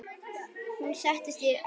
Hún settist á rúmið.